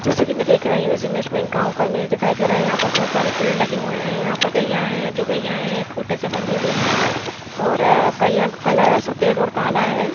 जैसे की में देख रही हूँ इस इमेज में एक गांव का इमेज दिखाई दे रहा है यहां पर बहुत सारे पेड़ लगे हुए हैं यहां पर गायां है जो गैया है एक खूटे से बंदी हुई है और गैया को कलर सफेद और काला है ।